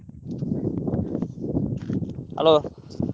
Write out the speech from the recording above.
Hello.